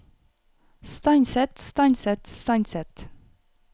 stanset stanset stanset